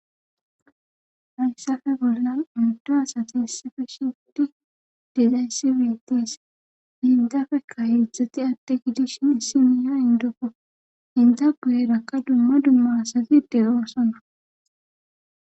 Hayssafe bollan oydu asati issife shidi dixayssi weetees indafe ka hiidzdzati ade gidishin issi miya indopo hinta guyeerakka dumma dumma asatide oosona